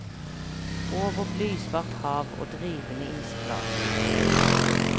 Over blysvart hav og drivende isflak.